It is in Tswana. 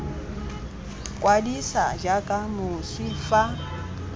kwadisa jaaka moswi fa motswantle